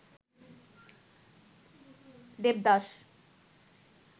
Devdas